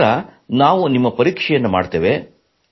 ನಂತರ ನಾವು ನಿಮ್ಮ ಪರೀಕ್ಷೆ ಮಾಡುತ್ತೇವೆ